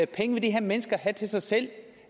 penge vil de her mennesker have til sig selv